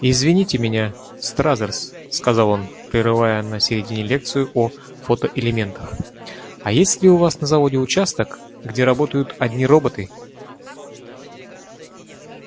извините меня стразерс сказал он прерывая на середине лекцию о фотоэлементах а есть ли у вас на заводе участок где работают одни роботы